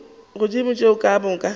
godimo ga tšeo ka moka